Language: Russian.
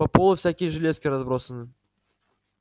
по полу всякие железки разбросаны